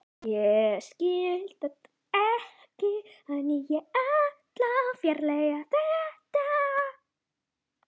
Venjuleg streita milli föður og dóttur, hugsaði ég með mér.